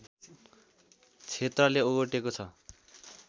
क्षेत्रले ओगटेको छ